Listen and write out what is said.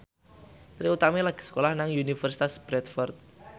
Trie Utami lagi sekolah nang Universitas Bradford